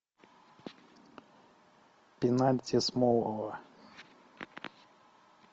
пенальти смолова